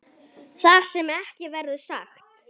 Það sem ekki verður sagt